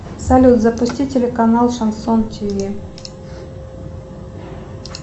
салют запусти телеканал шансон тв